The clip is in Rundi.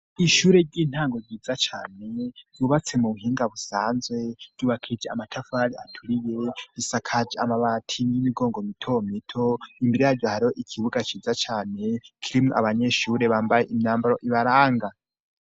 Ishure ry'intango ryiza cane ryubatse mu buhinga busanzwe ryubakije amatafari aturiye risakaje amabati y'imigongo mitomito imbere yaryo hariho ikibuga ciza cane kirimwo abanyeshure bambaye imyambaro ibarang.